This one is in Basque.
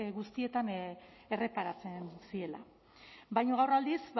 guztietan erreparatzen ziela baina gaur aldiz